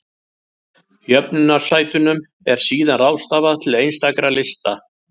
Jöfnunarsætunum er síðan ráðstafað til einstakra lista.